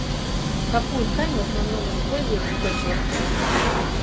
какую ткань в основном используют в пэчворке